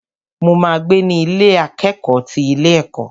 Mo ma gbé ní Ilé akẹ́kọ̀ọ́ ti ilé ẹ̀kọ́.